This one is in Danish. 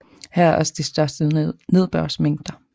Her er også de største nedbørsmængder